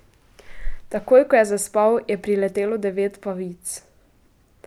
Takoj, ko je zaspal, je priletelo devet pavic.